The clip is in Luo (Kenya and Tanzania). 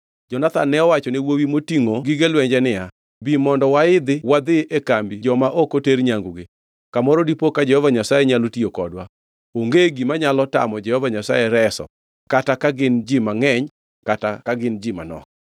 Jonathan ne owacho ne wuowi matingʼo gige lwenje niya, “Bi mondo waidh wadhi e kambi joma ok oter nyangugi. Kamoro dipo ka Jehova Nyasaye nyalo tiyo kodwa. Onge gima nyalo tamo Jehova Nyasaye reso kata ka gin ji mangʼeny kata ka gin ji manok.”